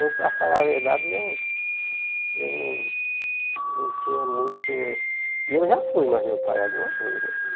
E eu, para falar a verdade, eu eu não tinha muito... E eu já fui mais meu pai algumas vezes, né?